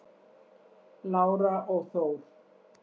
Lára og Þór.